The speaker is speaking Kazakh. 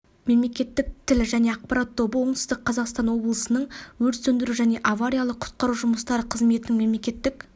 мемлекеттік тіл және ақпарат тобы оңтүстік қазақстан облысының өрт сөндіру және авариялық құтқару жұмыстары қызметінің мемлекеттік